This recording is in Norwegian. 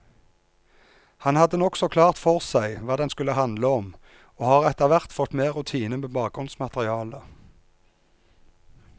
Han hadde nokså klart for seg hva den skulle handle om, og har etterhvert fått mer rutine med bakgrunnsmaterialet.